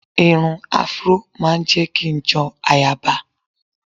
Irun afró ma ń jẹ́ kí n jọ ayaba